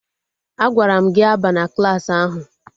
Agwara m gị abana Klassị ahụ!